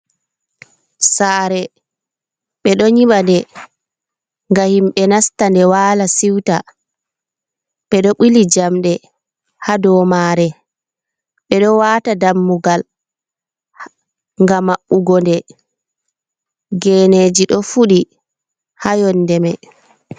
Saare. Ɓe ɗo nyimade ga himɓe nasta nde waala, siwta. Ɓe ɗo ɓili jamɗe haa do maare. Ɓe ɗo waata dammugal nga maɓɓugo, nda geneeji ɗo fuɗi haa yonnde mai.